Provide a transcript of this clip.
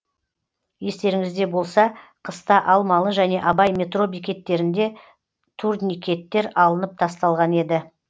естеріңізде болса қыста алмалы және абай метро бекеттерінде турникеттер алынып тасталған еді